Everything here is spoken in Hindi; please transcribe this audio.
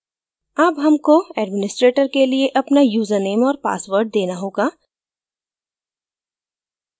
अब हमको administrator के लिए अपना username और password देना होगा